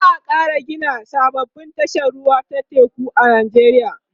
za'a Kara Gina sababbin tashar ruwa ta teku a nijeriya